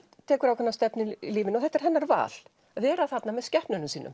tekur ákveðna stefnu í lífinu og þetta er hennar val að vera þarna með skepnunum sínum